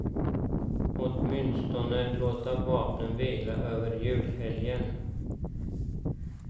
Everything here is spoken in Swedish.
Åtminstone låta vapnen vila över julhelgen.